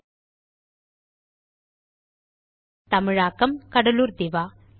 மொழியாக்கம் கடலூர் திவா